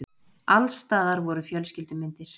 Alls staðar voru fjölskyldu- myndir.